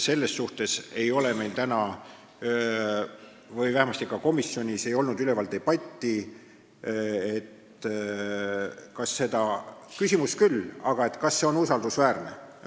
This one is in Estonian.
Meil ei ole vähemasti komisjonis olnud debatti, kas see on usaldusväärne.